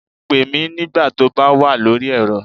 Pè mí nígbà tó bá wà lórí ẹ̀rọ